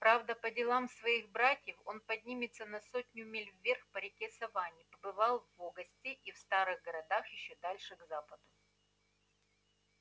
правда по делам своих братьев он поднимется на сотню миль вверх по реке саванне побывал в огасте и в старых городах ещё дальше к западу